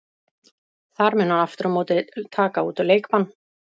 Þar mun hann aftur á móti taka út leikbann.